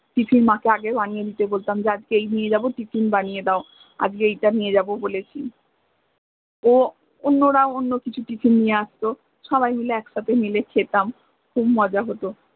tiffin মাকে আগে বানিয়ে দিতে বলতাম যে আজক এই নিয়ে যাব tiffin বানিয়ে দাও আজ্কে এটা নিয়ে যাব বলেছি নো ও অন্য়রা অন্য় কিছু tiffin নিয়ে আসত সবাই মিলে একসাথে মিলে খেতাম খুব মজা হত